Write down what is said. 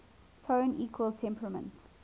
tone equal temperament